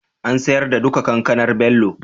an siyar da duka Kankanar Bello jiya?